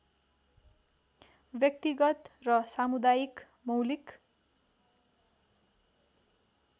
व्यक्तिगत र सामुदायिक मौलिक